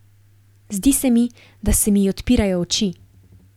Zdi se mi, da se mi odpirajo oči.